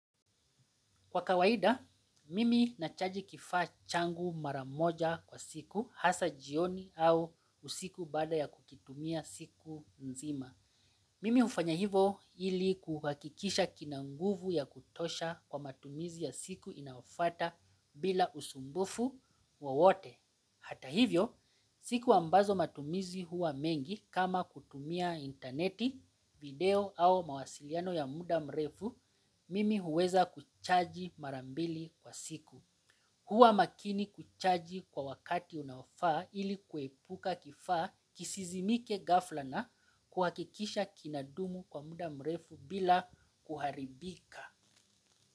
Kwa kawaida, mimi nachaji kifaa changu mara moja kwa siku hasaa jioni au usiku baada ya kukitumia siku nzima. Mimi hufanya hivyo ili kuhakikisha kina nguvu ya kutosha kwa matumizi ya siku inayofwata bila usumbufu wowote. Hata hivyo, siku ambazo matumizi huwa mengi kama kutumia intaneti, video au mawasiliano ya muda mrefu, mimi huweza kuchaji mara mbili kwa siku. Huwa makini kuchaji kwa wakati unaofaa ili kuepuka kifaa kisizimike ghafla na kuhakikisha kinadumu kwa muda mrefu bila kuharibika.